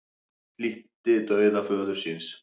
Flýtti dauða föður síns